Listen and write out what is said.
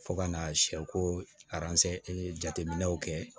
Fo ka na sɛ ko jateminɛw kɛ